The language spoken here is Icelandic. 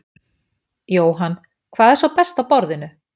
Jóhann: Hvað er svo best á borðinu?